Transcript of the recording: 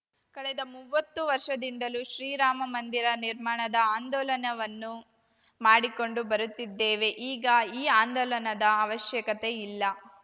ಕಳೆದ ಮೂವತ್ತು ವರ್ಷದಿಂದಲೂ ಶ್ರೀರಾಮ ಮಂದಿರ ನಿರ್ಮಾಣದ ಆಂದೋಲನವನ್ನು ಮಾಡಿಕೊಂಡು ಬರುತ್ತಿದ್ದೇವೆ ಈಗ ಈ ಆಂದೋಲನದ ಅವಶ್ಯಕತೆ ಇಲ್ಲ